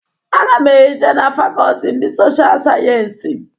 Aga m e je na fakọlti ndị Social Sayensi.